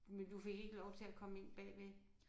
Men du fik ikke lov til at komme ind bagved?